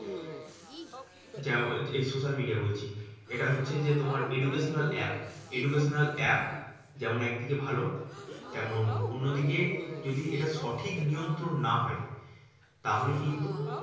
এই social media বলছি, এটা হচ্ছে যে তোমার educational app educational app যেমন একদিকে ভালো তেমন অন্যদিকে যদি এটা সঠিক নিয়ন্ত্রণ না হয় তাহলে কিন্তু